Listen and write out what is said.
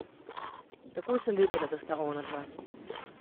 Takoj sem vedela, da sta onadva.